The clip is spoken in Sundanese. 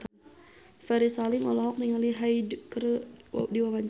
Ferry Salim olohok ningali Hyde keur diwawancara